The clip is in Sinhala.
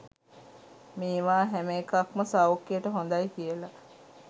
මේවා හැම එකක්ම සෞඛ්‍යයට හොඳයි කියල